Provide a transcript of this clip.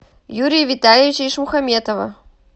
юрия витальевича ишмухаметова